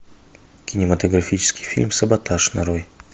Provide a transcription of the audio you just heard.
кинематографический фильм саботаж нарой